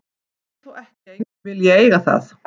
Það þýðir þó ekki að enginn vilji eiga það.